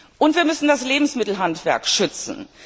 Und wir müssen das Lebensmittelhandwerk schützen.